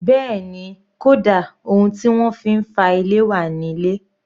Bẹ́ẹ̀ni, kódà ohun tí wọ́n fi ń fá ilé wà ní ilé